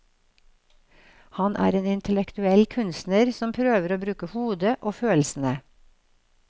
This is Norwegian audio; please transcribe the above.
Han er en intellektuell kunstner, som prøver å bruke hodet og følelsene.